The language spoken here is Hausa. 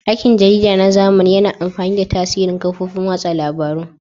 Aikin jarida na zamani yana amfani da tasirin kafofin watsa labarun.